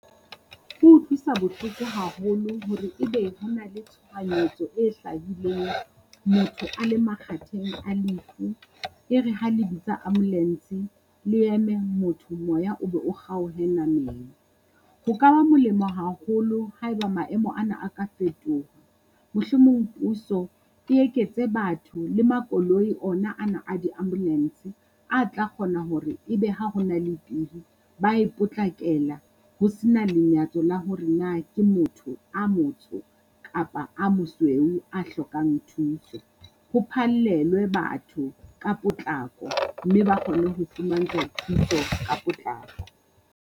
Ho utlwisa bohloko haholo hore ebe ho na le tshohanyetso e hlahileng motho a le makgatheng a lefu. E re ha le bitsa ambulance le eme motho, moya o be o kgaohe nameng. Ho ka ba molemo haholo haeba maemo ana a ka fetoha, mohlomong puso e eketse batho le makoloi ona ana a di-ambulance a tla kgona hore ebe ha ho na le pehi, ba e potlakela ho se na lenyatso le hore na ke motho a motsho kapa a mosweu a hlokang thuso. Ho phallelwe batho ka potlako mme ba kgone ho fumantswa thuso ka potlako.